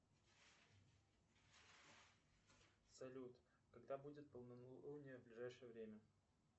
салют когда будет полнолуние в ближайшее время